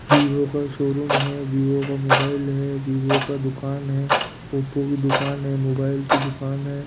Vivo का showroom है Vivo का मोबाइल है वीवो का दुकान है ओप्पो की दुकान है मोबाइल की दुकान है।